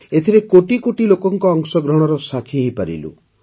ଏଥିରେ କୋଟି କୋଟି ଲୋକଙ୍କ ଅଂଶଗ୍ରହଣର ସାକ୍ଷୀ ହୋଇପାରିଲୁ